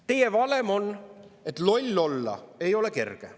Teie valem on, et loll olla ei ole kerge.